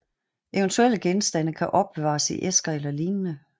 Eventuelle genstande kan opbevares i æsker eller lignende